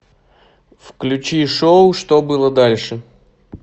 включи шоу что было дальше